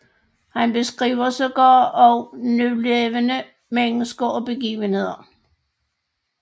Han beskriver sågar også nulevende mennesker og begivenheder